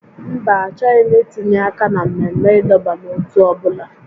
Mba, achọghị m itinye aka na mmemme ịdọba n'ótú ọ bụla